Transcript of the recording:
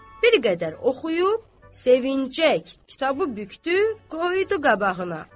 Bir qədər oxuyub, sevinəcək kitabı bükdü, qoydu qabağına.